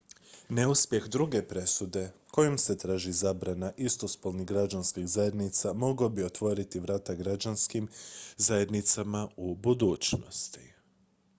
neuspjeh druge presude kojom se traži zabrana istospolnih građanskih zajednica mogao bi otvoriti vrata građanskim zajednicama u budućnosti